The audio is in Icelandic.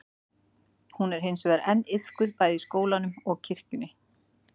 Hún er hins vegar enn iðkuð bæði í skólanum og kirkjunni.